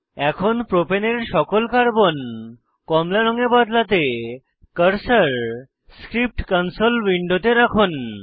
এখন প্রোপেনের সকল কার্বন কমলা রঙে বদলাতে কার্সার স্ক্রিপ্ট কনসোল উইন্ডোতে রাখুন